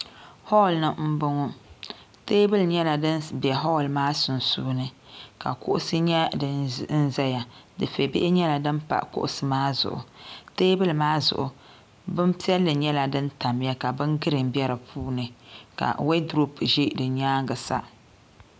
hool ni n bɔŋɔ teebuli nyɛla din bɛ hool maa sunsuuni ka kuɣusi nyɛ din ʒɛya dufɛ bihi nyɛla din pa kuɣusi maa zuɣu teebuli maa zuɣu bin piɛlli nyɛla din tamya ka bin giriin bɛ di puuni ka woodurop ʒɛ di nyaangi sa